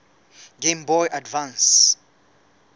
game boy advance